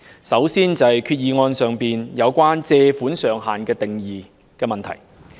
首先，擬議決議案中有關借款上限的定義有問題。